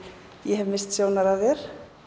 ég hef misst sjónar á þér